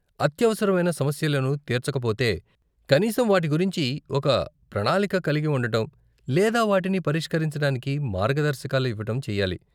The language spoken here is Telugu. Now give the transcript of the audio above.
అత్యవసరమైన సమస్యలను తీర్చకపోతే, కనీసం వాటి గురించి ఒక ప్రణాళిక కలిగి ఉండటం, లేదా వాటిని పరిష్కరించటానికి మార్గదర్శకాలు ఇవ్వటం చెయ్యాలి.